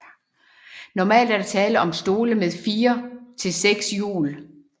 Normalt er der tale om stole med 4 til 6 hjul